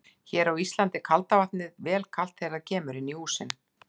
Hér á Íslandi er kalda vatnið vel kalt þegar það kemur inn í húsin.